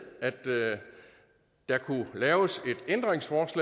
at der kunne laves et ændringsforslag